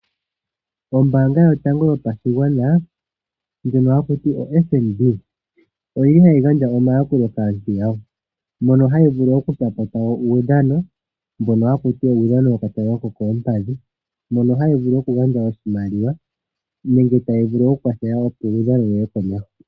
Ombaanga yotango yopashigwana FNB . Ohayi gandja omayakulo kaantu yawo . Ohayi vulu oku ambidhidha uudhano mbono wo ka tanga ko koompadhi . Ohayi vulu oku gandja oshimaliwa nenge tayi vulu oku kwathela ompungulilo yiye komeho.